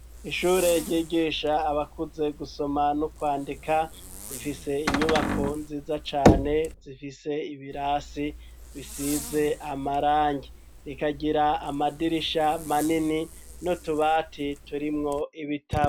Ishure ryigisha abakuze gusoma no kwandika, rifise inyubako nziza cane zifise ibirasi bisize amarangi. Rikagira amadirisha manini n'utubati turimwo ibitabo.